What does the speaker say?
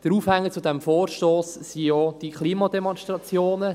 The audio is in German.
Der Aufhänger zu diesem Vorstoss waren ja diese Klimademonstrationen.